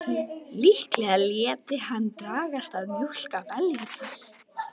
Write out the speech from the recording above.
Líklega léti hann dragast að mjólka beljurnar.